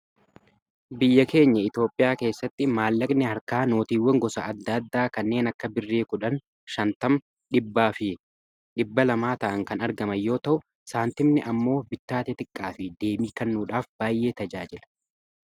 biyya keenya itioophiyaa keessatti maallaqni harkaa nootiiwwan gosa adda addaa kanneen akka birri 1 0,50fi200 ta'an kan argamanyoo ta'u saantimni ammoo bittaa xiqqaa fi deemii kannuudhaaf baay’ee tajaajila